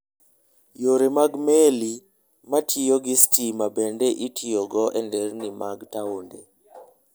Yore mag meli matiyo gi stima bende itiyogo e nderni mag taonde.